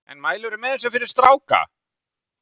En mælirðu með þessu fyrir stráka?